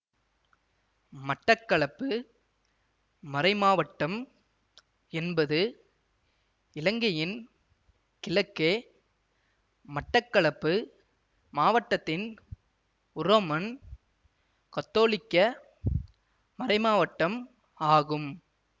மட்டக்களப்பு மறைமாவட்டம் என்பது இலங்கையின் கிழக்கே மட்டக்களப்பு மாவட்டத்தின் உரோமன் கத்தோலிக்க மறைமாவட்டம் ஆகும்